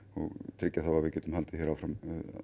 tryggja að við getum haldið hér áfram